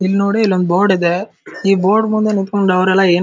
ಇಲ್ನೋಡಿ ಇಲ್ಲೊಂದು ಬೋರ್ಡ್ ಇದೆ ಈ ಬೋರ್ಡ್ ಮುಂದೆ ನಿಂಥಂಕೊಂಡ್ ಅವರೆಲ್ಲ ಏನು--